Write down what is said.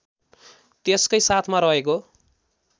त्यसकै साथमा रहेको